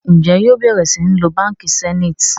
Njé yóò bẹrẹ sìn ló bánkì Zenith?